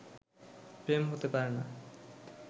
প্রেম হতে পারে না